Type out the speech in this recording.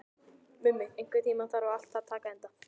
Mummi, einhvern tímann þarf allt að taka enda.